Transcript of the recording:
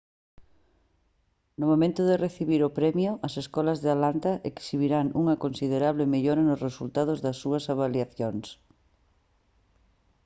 no momento de recibir o premio as escolas de atlanta exhibiran unha considerable mellora nos resultados das súas avaliacións